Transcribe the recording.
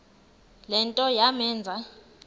le nto yamenza